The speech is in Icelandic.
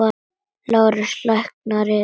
LÁRUS: Lækninn yðar?